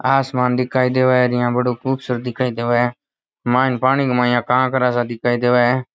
आसमान दिखाई देवे र यान बड़ो खूबसूरत दिखाई देवे मायन पानी के माय कांकरा सा दिखाई देवे है।